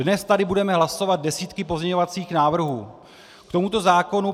Dnes tady budeme hlasovat desítky pozměňovacích návrhů k tomuto zákonu.